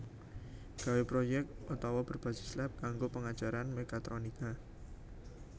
Gawe projek otawa berbasis lab kanggo pengajaran mekatronika